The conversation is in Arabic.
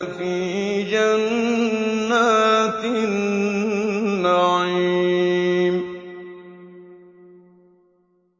فِي جَنَّاتِ النَّعِيمِ